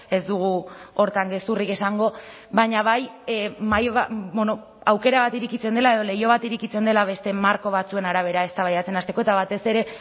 ez dugu horretan gezurrik esango baina bai aukera bat irekitzen dela edo leiho bat irekitzen dela beste marko batzuen arabera eztabaidatzen hasteko eta batez ere